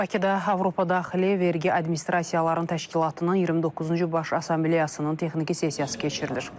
Bakıda Avropadaxili vergi administrasiyalarının təşkilatının 29-cu baş assambleyasının texniki sessiyası keçirilir.